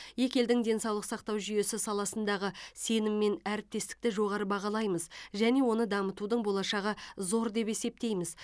екі елдің денсаулық сақтау жүйесі саласындағы сенім мен әріптестікті жоғары бағалаймыз және оны дамытудың болашағы зор деп есептейміз